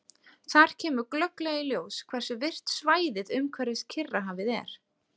Þar kemur glögglega í ljós hversu virkt svæðið umhverfis Kyrrahafið er.